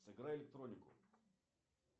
сыграй электронику